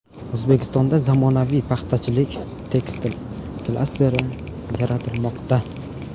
O‘zbekistonda zamonaviy paxtachilik-tekstil klasteri yaratilmoqda.